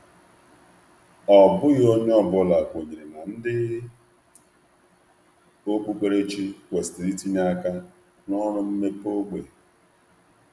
Ọ bụghị onye ọ bụla kwenyere na ndị okpukperechi kwesịrị itinye aka na ọrụ mmepe ógbè.